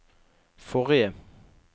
forrige